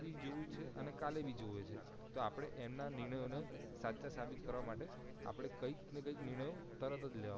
એની જેવું છે અને કાલે બી જોવે છે તો પડે એમના નિર્ણય ઓ ને સાચા સાબિત કરવા માટે આપડે કંઈક ને કંઈક નિર્ણય તરત જ લેવા પડશે